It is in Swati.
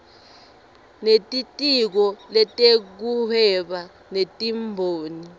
nelitiko letekuhweba netimboni